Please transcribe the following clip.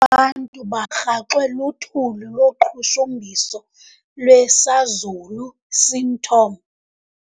Abantu barhaxwe luthuli loqhushumbiso lwesazulu seathom.